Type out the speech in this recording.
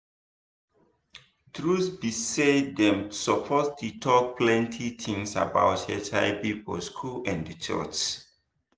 truth be say dem suppose dey talk plenty things about hiv for school and church